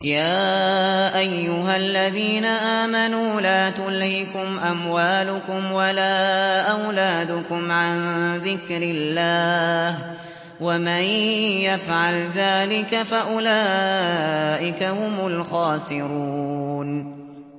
يَا أَيُّهَا الَّذِينَ آمَنُوا لَا تُلْهِكُمْ أَمْوَالُكُمْ وَلَا أَوْلَادُكُمْ عَن ذِكْرِ اللَّهِ ۚ وَمَن يَفْعَلْ ذَٰلِكَ فَأُولَٰئِكَ هُمُ الْخَاسِرُونَ